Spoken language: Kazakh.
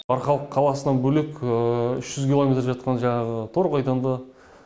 арқалық қаласынан бөлек үш жүз километр жатқан жаңағы торғайдан да